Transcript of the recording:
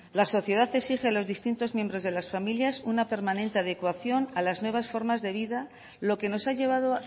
la sociedad exige a los distintos miembros de las familias una permanente adecuación a las nuevas formas de vida lo que nos ha llevado